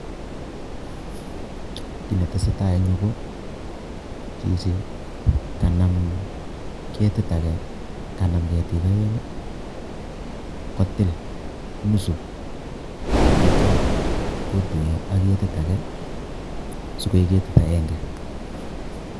Kii ne tesei tai eng yu ko chichi kanam, ketit age , kanam ketik oeng kutil nusu teitya kotuyo ak ketit age sikoek ketit aenge.